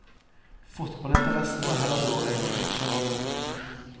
Fotballinteressen er heller dårlig, skjønner du.